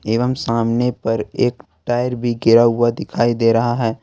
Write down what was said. एवं सामने पर एक टायर भी गिरा हुआ दिखाई दे रहा है।